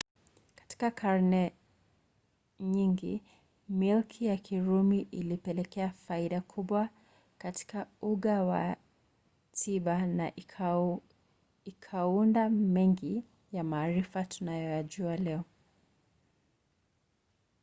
katika karne nyingi milki ya kirumi ilipelekea faida kubwa katika uga wa tiba na ikaunda mengi ya maarifa tunayoyajua leo